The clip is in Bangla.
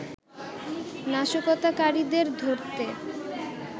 নাশকতাকারীদের ধরতে